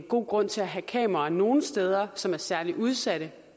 god grund til at have kameraer nogle steder som er særlig udsatte